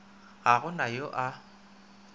ga go na yo a